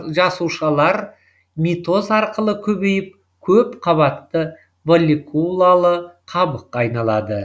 жасушалар митоз арқылы көбейіп көпқабатты волликулалы қабыққа айналады